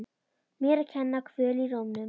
Mér að kenna- Kvöl í rómnum.